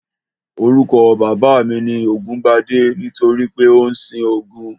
Orúkọ bàbá mi ni Ògúngbadé nítorí pé ó ń sin Ògún